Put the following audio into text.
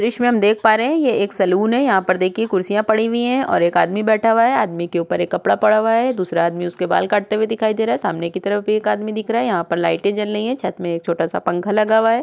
द्र्श्य मे हम देख पा रहे हे ये एक सलून है| यहाँ पर देखिए कुर्सिया पड़ी हुई है ओर एक आदमी बैठा हुआ है| आदमी के ऊपर एक कपड़ा पड़ा हुआ है| दूसरा आदमी उसके बाल काटते हुए दिखाई दे रहा हे| सामने की तरफ भी एक आदमी दिख रहा हे। यहाँ पर लाइटे जल रही हे| छत मे एक छोटा सा पंखा लगा हुआ है।